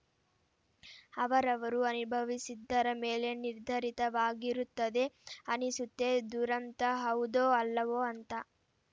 ಅವರವರು ಅನುಭವಿಸಿದ್ದರ ಮೇಲೆ ನಿರ್ಧರಿತವಾಗಿರುತ್ತದೆ ಅನಿಸುತ್ತೆ ದುರಂತ ಹೌದೋ ಅಲ್ಲವೋ ಅಂತ